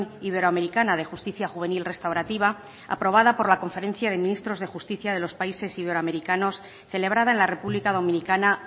iberoamericana de justicia juvenil restaurativa aprobada por la conferencia de ministros de justicia de los países iberoamericanos celebrada en la república dominicana